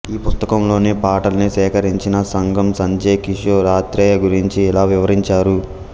ఈ పుస్తకంలోని పాటల్ని సేకరించిన సంగమ్ సంజయ్ కిషోర్ ఆత్రేయ గురించి ఇలా వివరించారు